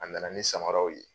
A nana ni samaraw ye.